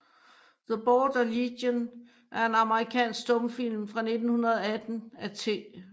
The Border Legion er en amerikansk stumfilm fra 1918 af T